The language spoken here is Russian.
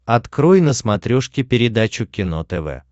открой на смотрешке передачу кино тв